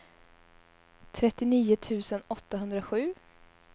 trettionio tusen åttahundrasju